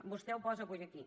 vostè ho posa avui aquí